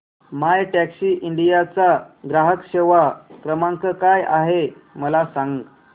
My Taxi India चा ग्राहक सेवा क्रमांक काय आहे मला सांग